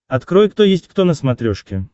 открой кто есть кто на смотрешке